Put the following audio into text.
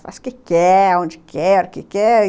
Faz o que quer, onde quer, o que quer.